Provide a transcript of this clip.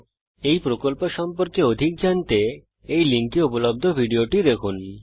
spoken tutorial প্রকল্প সম্পর্কে অধিক জানতে এই লিঙ্কে উপলব্ধ ভিডিওটি দেখুন